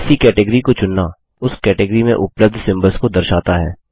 किसी कैटगॉरी को चुनना उस कैटगॉरी में उपलब्ध सिम्बल्स को दर्शाता है